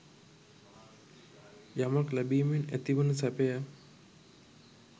යමක් ලැබීමෙන් ඇතිවන සැපය